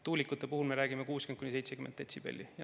Tuulikute puhul me räägime 60–70 detsibellist.